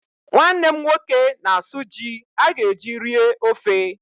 Nwanne m nwoke na-asụ ji a ga-eji rie ofe.